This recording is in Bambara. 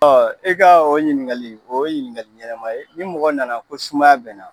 Ɔ e ka o ɲininkali, o ye ɲininkali ɲɛnama ye, ni mɔgɔ nana ko sumaya bɛ n na